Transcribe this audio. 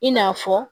I n'a fɔ